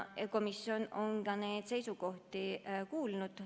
Komisjon on neid seisukohti kuulnud.